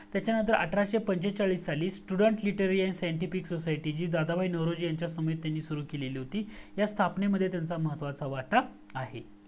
तच्या नंतर अठराशे पंचेचाळीस साली STUDENTS LITERARY AND SCIENTIFIC SOCIETY जी दादोबा नवरोजी यांनी सुरू केली होती ह्या स्थापणे मध्ये त्यांचा महत्वाचा वाटा आहे